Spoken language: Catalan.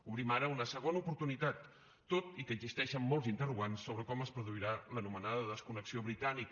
obrim ara una segona oportunitat tot i que existeixen molts interrogants sobre com es produirà l’anomenada desconnexió britànica